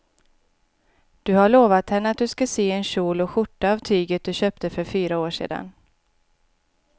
Du har lovat henne att du ska sy en kjol och skjorta av tyget du köpte för fyra år sedan.